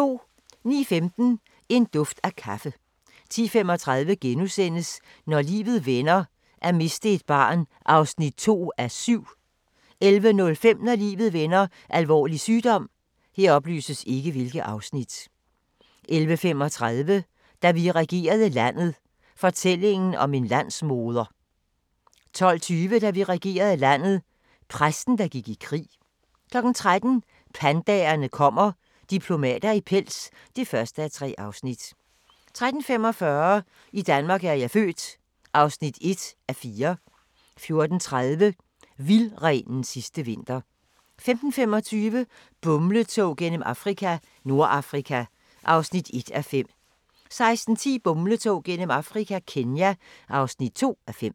09:15: En duft af kaffe 10:35: Når livet vender: At miste et barn (2:7)* 11:05: Når livet vender: Alvorlig sygdom 11:35: Da vi regerede landet – fortællingen om en landsmoder 12:20: Da vi regerede landet – Præsten, der gik i krig 13:00: Pandaerne kommer – diplomater i pels (1:3) 13:45: I Danmark er jeg født (1:4) 14:30: Vildrenens sidste vinter 15:25: Bumletog gennem Afrika - Nordafrika (1:5) 16:10: Bumletog gennem Afrika – Kenya (2:5)